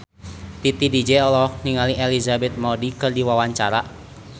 Titi DJ olohok ningali Elizabeth Moody keur diwawancara